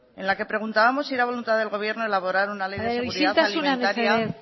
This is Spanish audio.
en la que preguntábamos si era voluntad del gobierno elaborar una ley de seguridad alimentaria isiltasuna mesedez